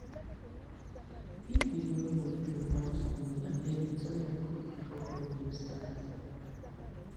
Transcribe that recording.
if you borrow from house money abeg return am quick before problem start